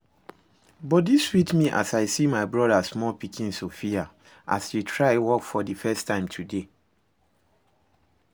Body sweet me as I see my brother small pikin, Sophia, as she try walk for the first time today